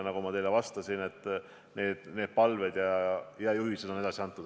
Nagu ma teile ütlesin, need palved ja juhised on edasi antud.